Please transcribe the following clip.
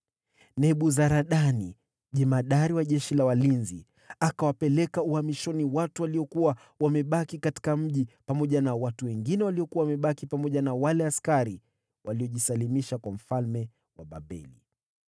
Nebuzaradani jemadari wa askari walinzi akawapeleka uhamishoni watu waliokuwa wamebaki katika mji, pamoja na mabaki ya watu wa kawaida, na wale waliojisalimisha kwa mfalme wa Babeli.